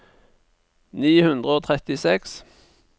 ni hundre og trettiseks